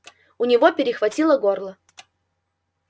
у него перехватило горло